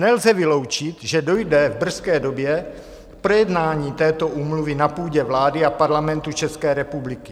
Nelze vyloučit, že dojde v brzké době k projednání této úmluvy na půdě vlády a Parlamentu České republiky.